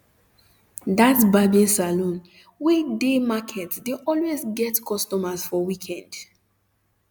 that barbing salon wey near market dey always get customers for weekend